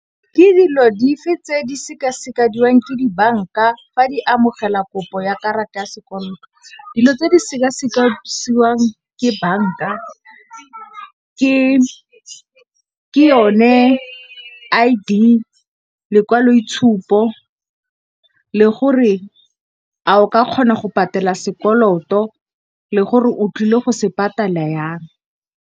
Ke dilo dife tse di sekasekiwang ke dibanka fa di amogela kopo ya karata ya sekoloto. Dilo tse di sekasekiwang ke banka ke yone I_D, lekwaloitshupo le gore a o ka kgona go patela sekoloto le gore o tlile go se patala yang.